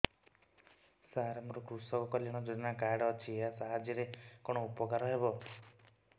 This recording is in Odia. ସାର ମୋର କୃଷକ କଲ୍ୟାଣ ଯୋଜନା କାର୍ଡ ଅଛି ୟା ସାହାଯ୍ୟ ରେ କଣ ଉପକାର ହେବ